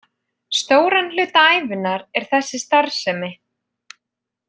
Stóran hluta ævinnar er þessi starfsemi.